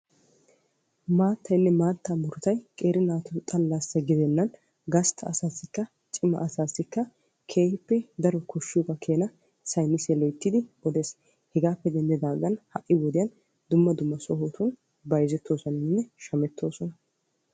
Maattaynne maattaa murutay qeeri naatu xala gidenen gastta asaassinne cima asaassi keehippe koshiyoogatto saynnisse yootees. Hegappe denddigan hai' wodiyan dumma dumma sohoti bayzzetosonnanne shammettosonna.